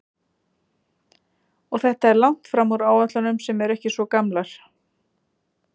Og þetta er langt fram úr áætlunum sem ekki eru svo gamlar?